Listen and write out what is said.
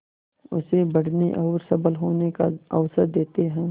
उसे बढ़ने और सबल होने का अवसर देते हैं